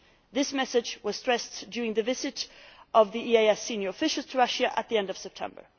This message was stressed during the visit of the EEAS senior officials to Russia at the end of September.